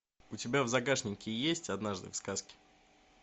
у тебя в загашнике есть однажды в сказке